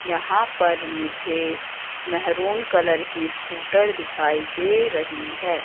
यहां पर मुझे मैहरून कलर की स्कूटर दिखाई दे रही है।